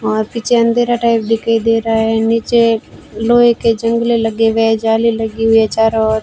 और पीछे अंधेरा टाइप दिखाई दे रहा है नीचे लोहे के जंगले लगे हुए झाले लगे हुई है चारों ओर --